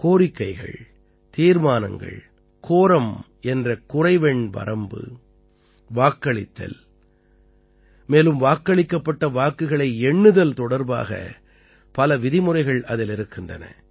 கோரிக்கைகள் தீர்மானங்கள் கோரம் என்ற குறைவெண் வரம்பு வாக்களித்தல் மேலும் வாக்களிக்கப்பட்ட வாக்குகளை எண்ணுதல் தொடர்பாக பல விதிமுறைகள் அதில் இருக்கின்றன